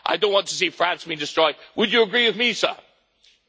I don't want to see France be destroyed. Would you agree with me, sir?